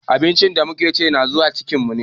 Abincin da muke chi na zuwa cikin mu ne.